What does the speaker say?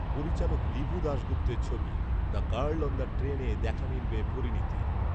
পরিচালক ঋভু দাশগুপ্তের ছবি ‘দ্য গার্ল অন দ্য ট্রেনে' দেখা মিলবে পরিণীতির